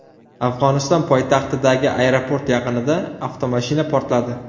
Afg‘oniston poytaxtidagi aeroport yaqinida avtomashina portladi.